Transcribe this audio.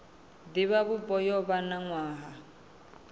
divhavhupo yo vha na nwaha